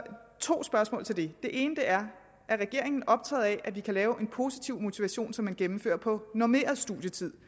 to spørgsmål til det det ene er er regeringen optaget af at vi kan lave en positiv motivation så man gennemfører på normeret studietid